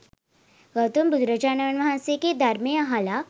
ගෞතම බුදුරජාණන් වහන්සේගේ ධර්මය අහලා